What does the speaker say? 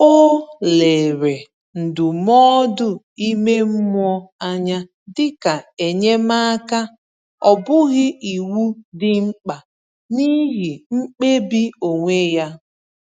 O lere ndụmọdụ ime mmụọ anya dịka enyemaka, ọ bụghị iwu dị mkpa n’ihe mkpebi onwe ya.